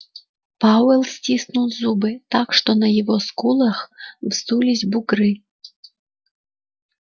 пауэлл стиснул зубы так что на его скулах вздулись бугры